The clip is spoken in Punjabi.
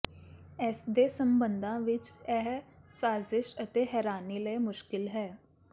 ਇਸਦੇ ਸਬੰਧਾਂ ਵਿੱਚ ਇਹ ਸਾਜ਼ਿਸ਼ ਅਤੇ ਹੈਰਾਨੀ ਲਈ ਮੁਸ਼ਕਲ ਹੈ